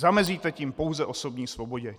Zamezíte tím pouze osobní svobodě.